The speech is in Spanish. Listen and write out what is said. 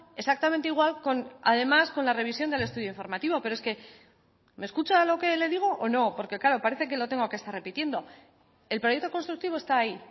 exactamente igual además con la revisión del estudio informativo pero es que me escucha lo que le digo o no porque claro parece que lo tengo que estar repitiendo el proyecto constructivo está ahí